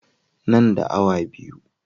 Nan da awa biyu.